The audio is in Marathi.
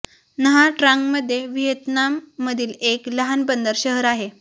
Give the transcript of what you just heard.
न्हा ट्रांग मध्य व्हिएतनाम मधील एक लहान बंदर शहर आहे